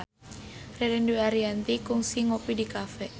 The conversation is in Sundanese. Ririn Dwi Ariyanti kungsi ngopi di cafe